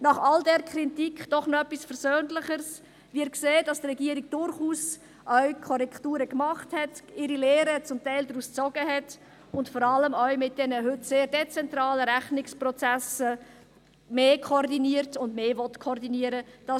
Nach all dieser Kritik doch noch etwas Versöhnlicheres: Wir sehen, dass die Regierung durchaus auch Korrekturen gemacht hat, zum Teil ihre Lehren daraus gezogen hat und vor allem auch mit den heute sehr dezentralen Rechnungsprozessen mehr koordiniert und mehr koordinieren will.